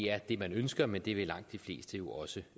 er det man ønsker men det vil langt de fleste jo også